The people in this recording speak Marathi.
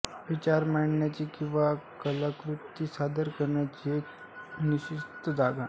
विचार मांडण्याची किंवा कलाकृती सादर करण्याची एक निश्चित जागा